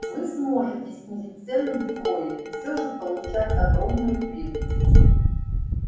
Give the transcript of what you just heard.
вы сможете снизить цену вдвое и все же получать огромную прибыль